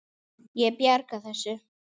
Ég bjarga þessu.